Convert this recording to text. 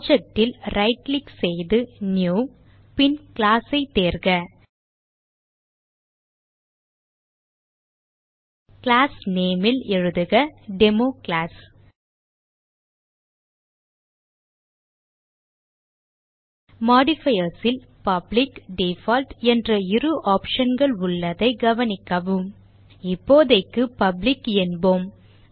project ல் right click செய்து new பின் class ஐ தேர்க கிளாஸ் name ல் எழுதுக டெமோகிளாஸ் modifiers ல் பப்ளிக் டிஃபால்ட் என்ற இரு optionகள் உள்ளதை கவனிக்கவும் இப்போதைக்கு பப்ளிக் என்போம்